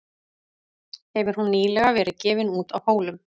Hefur hún nýlega verið gefin út á Hólum.